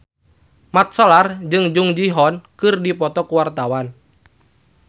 Mat Solar jeung Jung Ji Hoon keur dipoto ku wartawan